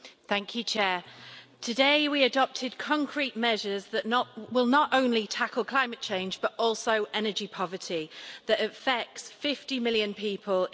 Mr President, today we adopted concrete measures that will not only tackle climate change but also energy poverty that affects 50 million people in Europe.